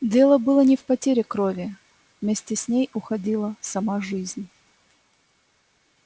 дело было не в потере крови вместе с ней уходила сама жизнь